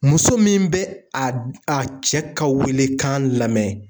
Muso min bɛ a cɛ ka welekan lamɛn.